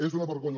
és una vergonya